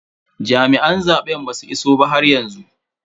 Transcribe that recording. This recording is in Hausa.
Jami'an zaben basu iso ba haryanzu.